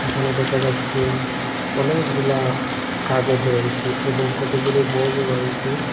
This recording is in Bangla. এখানে দেখা যাচ্ছে অনেকগুলা কাগজ রয়েসে এবং কতগুলো বইও রয়েছে।